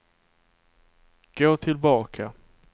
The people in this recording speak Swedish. gå tillbaka